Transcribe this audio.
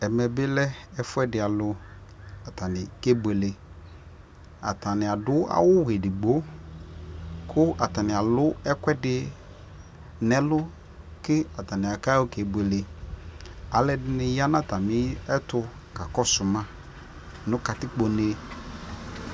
ɛmɛ bi lɛ ɛƒʋɛdi alʋ kʋ akɛ bʋɛlɛ, atani adʋ awʋ ɛdigbɔ kʋ atani alʋ ɛkʋɛdi nʋ ɛlʋ kʋatani ayɔ kɛ bʋɛlɛ, alʋɛdini yanʋ atami ɛtʋ kakɔsʋ ma nʋ katikpɔ nɛ